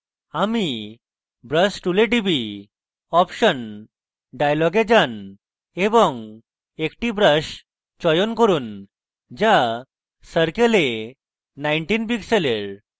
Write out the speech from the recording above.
আমি brush tool টিপি option dialog যান এবং একটি brush চয়ন করুন যা circle a 19 pixels